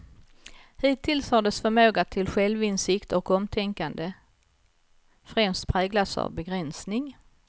Hittills har dess förmåga till självinsikt och omtänkande främst präglats av begränsning.